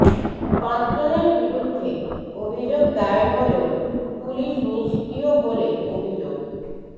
পাঁচ জনের বিরুদ্ধে অভিযোগ দায়ের হলেও পুলিস নিষ্ক্রিয় বলে অভিযোগ